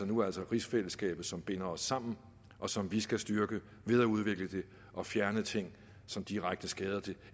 nu altså rigsfællesskabet som binder os sammen og som vi skal styrke ved at udvikle det og fjerne ting som direkte skader det